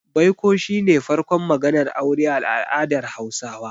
Baiko shi ne farkon maganar aure a al'adar Hausawa.